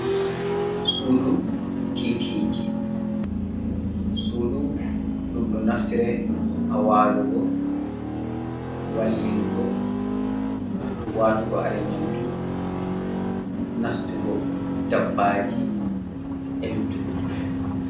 sudu titiji sudu ɗum ɗo naftira hawalugo wallingo watugo kare nyamdu nastugo dabbaji e luttuɗum.